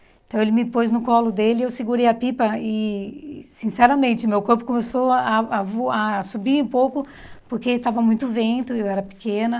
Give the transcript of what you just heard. Então, ele me pôs no colo dele e eu segurei a pipa e, sinceramente, meu corpo começou a a voar a subir um pouco porque estava muito vento e eu era pequena.